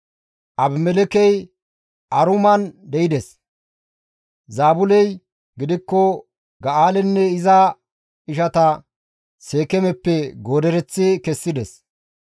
Abimelekkey Aruman de7ides; Zaabuley gidikko Ga7aalenne iza ishata Seekeemeppe goodereththi kessides.